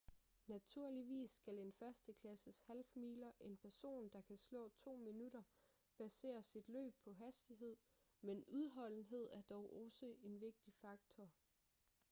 naturligvis skal en førsteklasses half-miler en person der kan slå to minutter basere sit løb på hastighed men udholdenhed er dog også en vigtig faktor